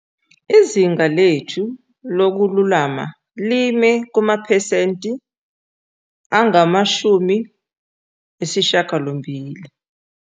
Izinga lethu lokululama lime kumaphesenti angama-80.